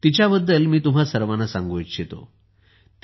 तिच्याबद्दल मी तुम्हां सर्वांना सांगू इच्छितो